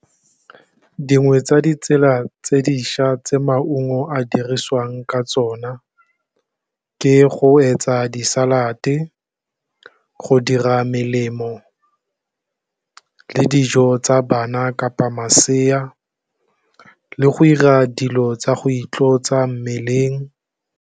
Dingwe tsa ditsela tse dišwa tse maungo a dirisiwang ka tsona ke go etsa di-salad-e go dira melemo, le dijo tsa bana kapa masea, le go ira dilo tsa go itlotsa mmeleng.